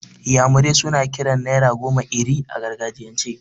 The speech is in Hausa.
Iyamure suna kiran naira goma 'Iri' a gargajiyan ce.